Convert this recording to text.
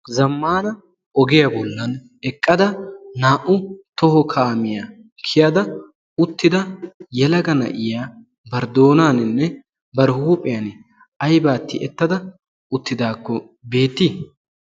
zammana ogiyaa bollan eqqada naa"u toho kaamiyaa kiyada uttida yelaga na'iya bar doonaaninne bar huuphiyan ayba tiyettada uttidaakko beettii